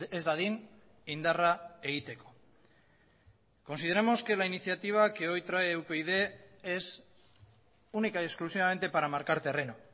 ez dadin indarra egiteko consideramos que la iniciativa que hoy trae upyd es única y exclusivamente para marcar terreno